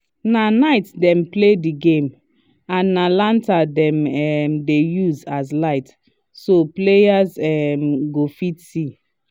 na night dem play the game and na lantern dem um dey use as light so players um go fit see